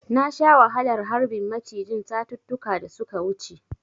Na sha wahalar harbin macijin satuttuka da suka wuce.